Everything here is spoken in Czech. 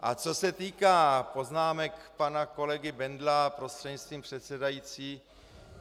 A co se týká poznámek pana kolegy Bendla - prostřednictvím předsedající.